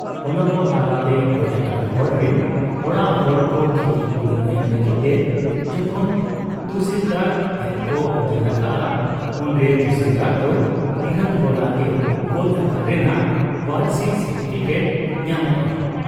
ᱚᱱᱟᱠᱚ ᱛᱟᱞᱟᱛᱮ ᱜᱚᱡ ᱟᱠᱟᱱ ᱦᱚᱲ ᱨᱤᱱ ᱚᱲᱟᱜ ᱦᱚᱲ ᱠᱚ ᱠᱷᱤᱛᱤ ᱯᱩᱨᱩᱱ ᱮᱢ ᱞᱟᱹᱜᱤᱫ ᱛᱮ ᱡᱚᱠᱷᱚᱱ ᱛᱩᱥᱤᱞᱫᱟᱨ ᱴᱷᱮᱫ ᱠᱚ ᱫᱟᱹᱲ ᱟᱠᱟᱜ ᱟ, ᱩᱱᱨᱮ ᱛᱩᱥᱤᱞᱫᱟᱨᱫᱚ ᱤᱨᱟᱹᱞ ᱦᱚᱲᱟᱜ ᱜᱮ ᱜᱚᱡ ᱟᱠᱟᱱ ᱨᱮᱱᱟᱜ ᱣᱟᱨᱤᱥᱤ ᱥᱟᱴᱤᱯᱷᱤᱠᱮᱴ ᱧᱟᱢᱚᱜ ᱟ ᱾